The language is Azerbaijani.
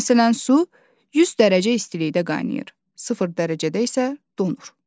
Məsələn su 100 dərəcə istilikdə qaynayır, sıfır dərəcədə isə donur.